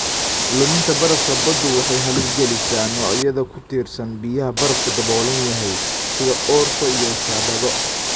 Luminta barafka baddu waxay halis gelisaa noocyada ku tiirsan biyaha barafku daboolan yahay, sida orso iyo shaabado.